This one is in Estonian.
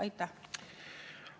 Aitäh!